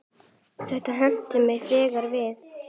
Þetta henti mig þegar við